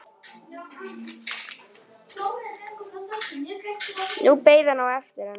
Nú beið hann eftir henni.